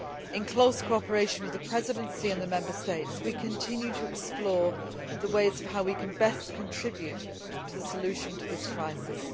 In close cooperation with the Presidency and the Member States, we continue to explore the ways in which we can best contribute to the solution of this crisis.